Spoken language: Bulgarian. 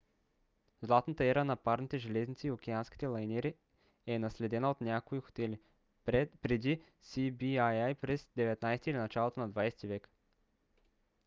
златната ера на парните железници и океанските лайнери е наследена от някои хотели; преди свii през 19 - ти или началото на 20 - ти век